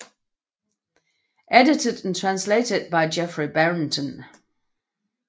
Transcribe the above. Edited and Translated by Geoffrey Brereton